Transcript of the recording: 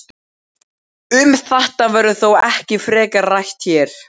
Um þetta verður þó ekki frekar rætt hér.